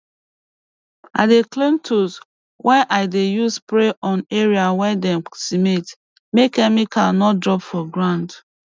i dey clean tools wey i dey use spray on area wey dem cement make chemical no drop for ground